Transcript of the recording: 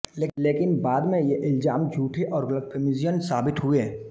लेकिन बाद में ये इल्ज़ाम झूठे और ग़लतफ़हमीजन्य साबित हुए